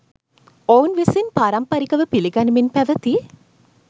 ඔවුන් විසින් පාරම්පරිකව පිළිගනිමින් පැවැති